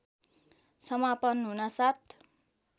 समापन हुनासाथ